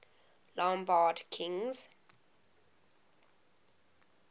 lombard kings